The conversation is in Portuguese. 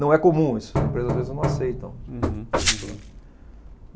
Não é comum isso, as empresas às vezes não aceitam. Uhum. Isso, né.